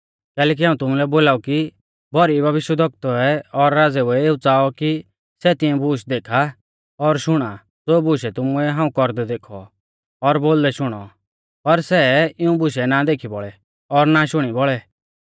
कैलैकि हाऊं तुमुलै बोलाऊ कि भौरी भविष्यवक्तुऐ और राज़ेऊ ऐ च़ाऔ कि सै तिऐं बूश देखा और शुणा ज़ो बुशै तुमुऐ हाऊं कौरदै देखौ और बोलदै शुणौ ऊ पर सै इऊं बुशै ना देखी बौल़ै और ना शुणी बौल़ै